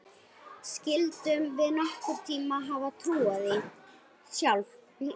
Skyldum við nokkurn tíma hafa trúað því sjálf?